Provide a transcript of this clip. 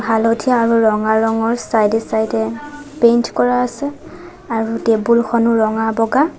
হালধীয়া আৰু ৰঙা ৰঙৰ চাইদ এ চাইদ এ পেইন্ট কৰা আছে আৰু টেবুল খনো ৰঙা-বগা।